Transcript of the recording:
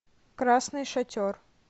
красный шатер